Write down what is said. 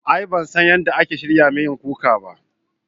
A'a ban san yadda ake shirya miyan kuka ba